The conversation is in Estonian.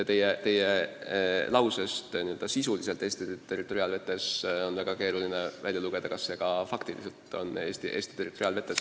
Teie formuleeringust "sisuliselt Eesti territoriaalvetes" on väga keeruline välja lugeda, kas see laev ka faktiliselt on Eesti territoriaalvetes.